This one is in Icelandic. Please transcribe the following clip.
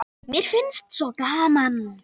Mér finnst svo gaman!